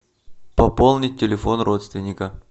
пополнить телефон родственника